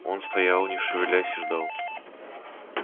он стоял не шевелясь и ждал